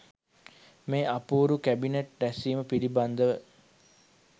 මේ අපූරු කැබිනට් රැස්වීම පිළිබඳ ව